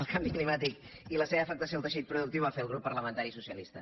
el canvi climàtic i la seva afectació en el teixit productiu que va fer el grup parlamentari socialista